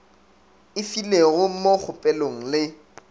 e filego mo kgopelong le